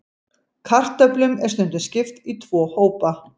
Kartöflum er stundum skipt í tvo hópa.